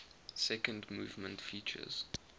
second movement features